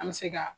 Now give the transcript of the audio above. An bɛ se ka